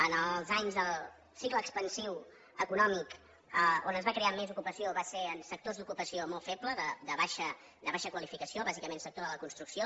en els anys del cicle expansiu econòmic on es va crear més ocupació va ser en sectors d’ocupació molt febles de baixa qualificació bàsicament sector de la construcció